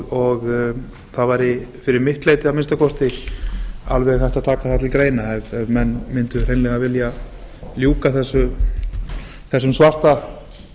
og það væri fyrir mitt leyti að minnsta kosti alveg hægt að taka það til greina ef menn mundu hreinlega vilja ljúka þessum svarta